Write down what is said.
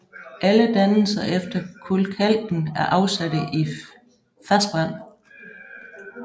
Alle dannelser efter kulkalken er afsatte i fersk vand